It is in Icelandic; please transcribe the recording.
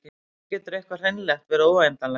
og hvernig getur eitthvað hreinlega verið óendanlegt